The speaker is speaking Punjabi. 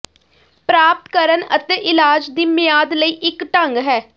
ਪ੍ਰਾਪਤ ਕਰਨ ਅਤੇ ਇਲਾਜ ਦੀ ਮਿਆਦ ਲਈ ਇੱਕ ਢੰਗ ਹੈ